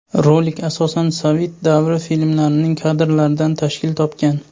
Rolik asosan sovet davri filmlarining kadrlaridan tashkil topgan.